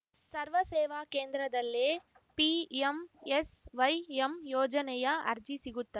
ಸರ್ವ ಸೇವಾ ಕೇಂದ್ರದಲ್ಲೇ ಪಿಎಂಎಸ್‌ವೈಎಂ ಯೋಜನೆಯ ಅರ್ಜಿ ಸಿಗುತ್ತ